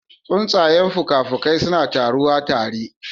Tsuntsayen fuka-fukai suna taruwa tare